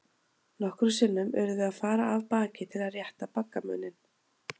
Nokkrum sinnum urðum við að fara af baki til að rétta baggamuninn.